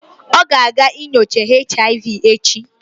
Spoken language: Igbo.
Ọ ga-aga nyocha HIV echi